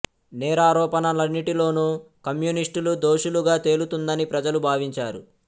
నేరారోపణ లన్నిటి లోనూ కమ్యూనిస్టులు దోషులుగా తేలుతుందని ప్రజలు భావించారు